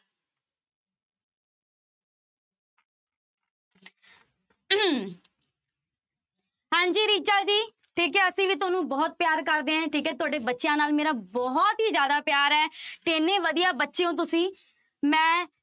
ਹਾਂਜੀ ਰਿਚਾ ਜੀ ਠੀਕ ਹੈ ਅਸੀਂ ਵੀ ਤੁਹਾਨੂੰ ਬਹੁਤ ਪਿਆਰ ਕਰਦੇ ਹਾਂ ਠੀਕ ਹੈ, ਤੁਹਾਡੇ ਬੱਚਿਆਂ ਨਾਲ ਮੇਰਾ ਬਹੁਤ ਹੀ ਜ਼ਿਆਦਾ ਪਿਆਰ ਹੈ ਤੇ ਇੰਨੇ ਵਧੀਆ ਬੱਚੇ ਹੋ ਤੁਸੀਂ, ਮੈਂ